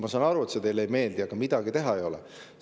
Ma saan aru, et see teile ei meeldi, aga midagi teha ei ole.